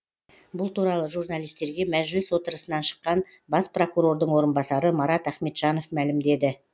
бұл туралы журналистерге мәжіліс отырысынан шыққан бас прокурордың орынбасары марат ахметжанов мәлімдеді